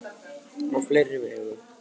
Og á fleiri vegu.